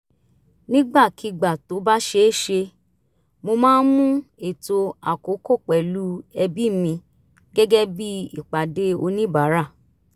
nígbàkigbà tó bá ṣeé ṣe mo máa ń mú ètò àkókò pẹ̀lú ẹbí mi gẹ́gẹ́ bí ìpàdé oníbàárà